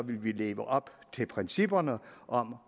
ville vi leve op til principperne om